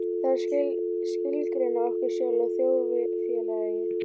Það er að skilgreina okkur sjálf og þjóðfélagið.